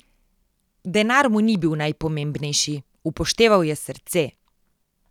Denar mu ni bil najpomembnejši, upošteval je srce.